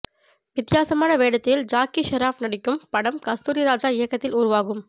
வித்தியாசமான வேடத்தில் ஜாக்கி ஷெராப் நடிக்கும் படம் கஸ்தூரிராஜா இயக்கத்தில் உருவாகும்